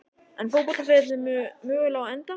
Er fótboltaferillinn mögulega á enda?